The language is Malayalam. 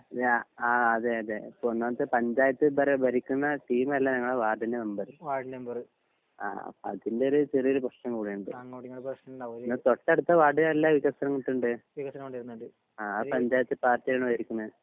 ഇല്ല ആ അതെ അതെ ഇപ്പൊ ഒന്നാമത്തെ പഞ്ചായത്ത് ഭര ഭരിക്ക്ന്ന ട്ടീമല്ല ഞങ്ങളെ വാർഡിന്റെ മെമ്പർ ആ അപ്പൊ അതിലൊരു ചെറിയൊരു പ്രെശ്നം കൂടെയിണ്ട് ഇന്നാ തൊട്ടടുത്ത വാർഡിലെല്ലാ വികാസമുട്ട്ണ്ട് ആ പഞ്ചായത്ത് പാർട്ടിയാണ് ഭരിക്ക്ണെ